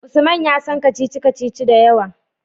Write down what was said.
Usman ya san kacici-kacici da yawa